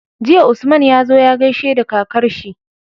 Jiya Usman yazo ya gaishe da kakar shi